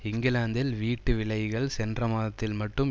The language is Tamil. இங்கிலாந்தில் வீட்டு விலைகள் சென்ற மாதத்தில் மட்டும்